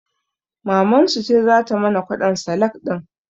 Mamansu ce zata mana kwaɗon salak ɗin